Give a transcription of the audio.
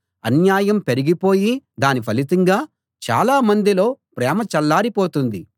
అన్యాయం పెరిగిపోయి దాని ఫలితంగా చాలామందిలో ప్రేమ చల్లారిపోతుంది